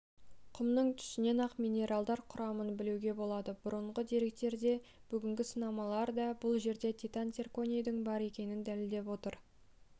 құмның түсінен-ақ минералдар құрамын білуге болады бұрынғы деректер де бүгінгі сынамалар да бұл жерде титан-цирконийдің бар екендігін дәлелдеп отыр